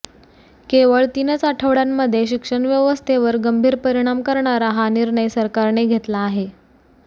केवळ तीनच आठवडयांमध्ये शिक्षण व्यवस्थेवर गंभीर परिणाम करणारा हा निर्णय सरकराने घेतला आहे